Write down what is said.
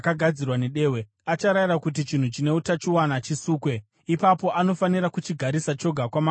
acharayira kuti chinhu chine utachiona chisukwe. Ipapo anofanira kuchigarisa choga kwamamwe mazuva manomwe.